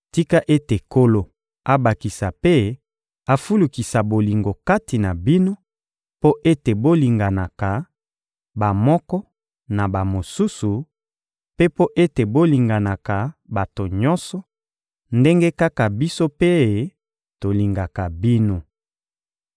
Tika ete Nkolo abakisa mpe afulukisa bolingo kati na bino mpo ete bolinganaka, bamoko na bamosusu, mpe mpo ete bolingaka bato nyonso, ndenge kaka biso mpe tolingaka bino.